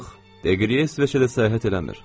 Yox, Deqriye İsveçrədə səyahət eləmir.